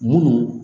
Munnu